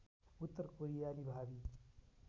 उत्तर कोरियाली भावी